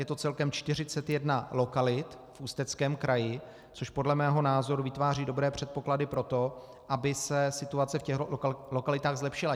Je to celkem 41 lokalit v Ústeckém kraji, což podle mého názoru vytváří dobré předpoklady pro to, aby se situace v těchto lokalitách zlepšila.